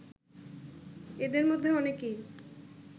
এদের মধ্যে অনেকেই